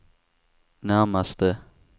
närmaste